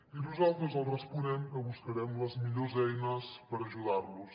i nosaltres els responem que buscarem les millors eines per ajudar los